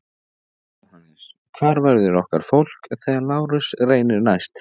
JÓHANNES: Hvar verður okkar fólk þegar Lárus reynir næst?